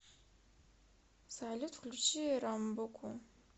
салют включи рамбуку